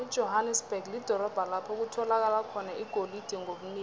ijohanesberg lidorobho lapho bekutholakala khona igolide ngobunengi